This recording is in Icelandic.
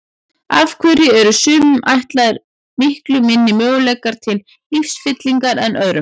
Af hverju eru sumum ætlaðir miklu minni möguleikar til lífsfyllingar en öðrum?